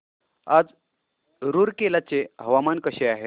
आज रूरकेला चे हवामान कसे आहे